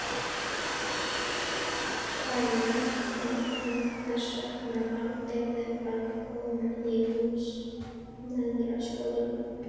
Karen: En hvers vegna valdirðu að koma í Húsmæðraskólann?